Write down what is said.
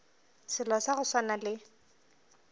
selo sa go swana le